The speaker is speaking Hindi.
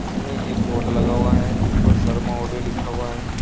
जिसमें एक बोर्ड लगा हुआ है जिसपर शर्मा ऑडियो लिखा हुआ है।